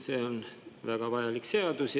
See on väga vajalik seadus.